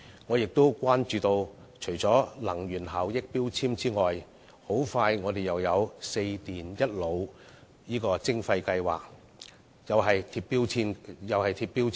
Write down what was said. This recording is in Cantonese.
我關注到，除能源標籤外，香港不久後又將會就"四電一腦"實施徵費計劃，規定銷售商亦須貼上標籤。